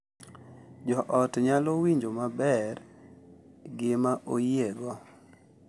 Jo ot nyalo winjo maber gima oyiego .